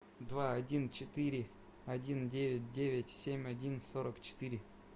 два один четыре один девять девять семь один сорок четыре